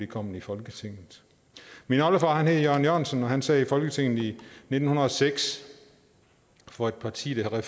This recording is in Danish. kommet i folketinget min oldefar hed jørgen jørgensen og han sad i folketinget i nitten hundrede og seks for et parti der